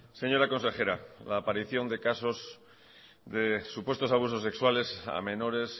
señora consejera la aparición de casos de supuestos abusos sexuales a menores